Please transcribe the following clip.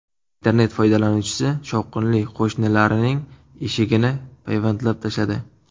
Internet foydalanuvchisi shovqinli qo‘shnilarining eshigini payvandlab tashladi.